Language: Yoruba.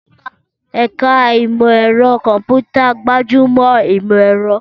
Ẹ̀ka Ìmọ̀ Ẹ̀rọ Kọ̀m̀pútà gbájú mọ́ ìmọ̀ ẹ̀rọ.